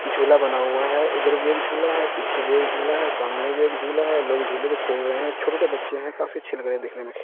झूला बना हुआ है उधर भी एक झूला है पीछे भी एक झूला है सामने भी एक झूला है लोग झूले पे खेल रहे हैं छोटे छोटे बच्चे हैं काफी अच्छे लग रे हैं देखने में--